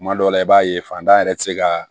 Tuma dɔw la i b'a ye fantan yɛrɛ tɛ se ka